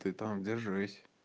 ты там держись